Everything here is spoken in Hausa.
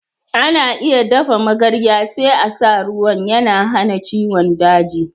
Ana iya dafa magarya, sai a sa ruwan. Yana hana ciwon daji.